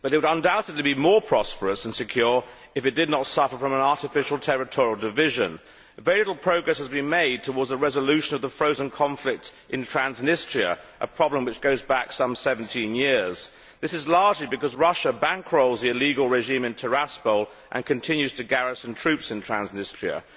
However, it would undoubtedly be more prosperous and secure if it did not suffer from an artificial territorial division. Very little progress has been made towards a resolution of the frozen conflict in Transnistria a problem which goes back some 17 years. This is largely because Russia bankrolls the illegal regime in Tiraspol and continues to garrison troops in Transnistria.